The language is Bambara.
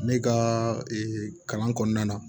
Ne ka kalan kɔnɔna na